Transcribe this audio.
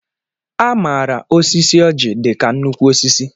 A maara osisi oji dị ka nnukwu osisi.